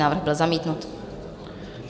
Návrh byl zamítnut.